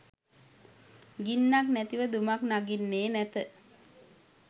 ගින්නක්‌ නැතිව දුමක්‌ නගින්නේ නැත